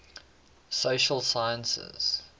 social sciences